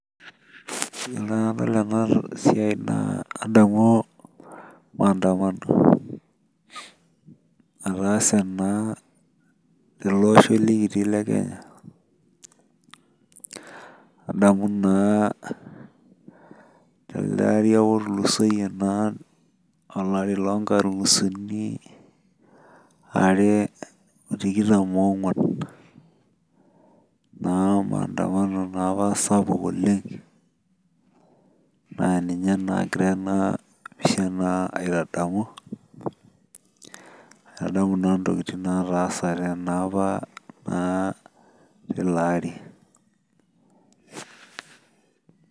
Iyiolo enadol ena siai nadamu maandamno. etaase ena telosho likitio le kenya. etaasa naa tele ari ake likitio loo nkalisuni. are otikitam oonguan. naa maandamano naa apa, sapuk oleng, naapushanan aitadamu. aitadamu naa ntokitin naatasate naa apa teilo ari.